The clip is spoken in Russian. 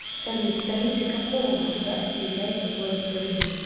салют столицей какого государства является город берлин